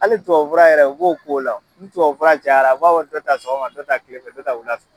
Hali tubabu fura yɛrɛ u b'o k'o la o, ni tubabu fura cayara u b'a fɔ dɔ ta sɔgɔma, dɔ ta kile fɛ, dɔ ta wula fɛ.